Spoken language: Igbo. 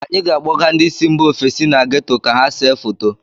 Anyị ga - akpọga ndị si mba ofesi na geto ka ha see foto.